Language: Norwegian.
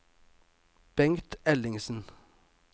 Bengt Ellingsen